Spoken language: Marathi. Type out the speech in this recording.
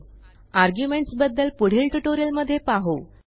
आर्ग्युमेंट्स बद्दल पुढील ट्युटोरियलमध्ये पाहू